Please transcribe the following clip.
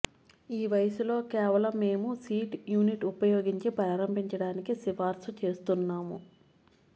ఈ వయసులో కేవలం మేము సీటు యూనిట్ ఉపయోగించి ప్రారంభించడానికి సిఫార్సు చేస్తున్నాము